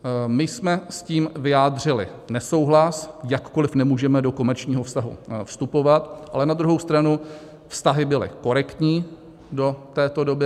My jsme s tím vyjádřili nesouhlas, jakkoliv nemůžeme do komerčního vztahu vstupovat, ale na druhou stranu vztahy byly korektní do této doby.